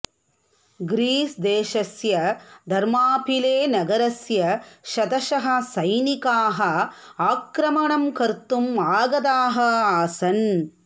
ग्रीसदेशस्य धर्मापिळेनगरस्य शतशः सैनिकाः आक्रमणं कर्तुम् आगताः आसन्